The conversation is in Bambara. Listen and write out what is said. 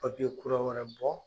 kura wɛrɛ bɔ